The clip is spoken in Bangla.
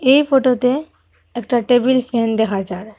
এই ফটোতে একটা টেবিল ফ্যান দেখা যার।